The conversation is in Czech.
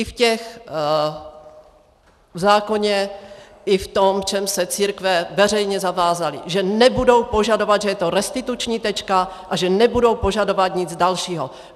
I v tom zákoně, i v tom, v čem se církve veřejně zavázaly, že nebudou požadovat, že to je restituční tečka a že nebudou požadovat nic dalšího.